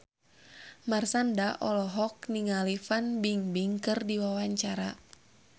Marshanda olohok ningali Fan Bingbing keur diwawancara